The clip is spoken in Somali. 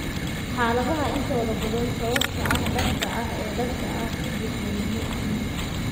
Xaaladaha intooda badan, sababta dhabta ah ee dhabta ah ee osteochondritis dissecans si buuxda looma fahmin.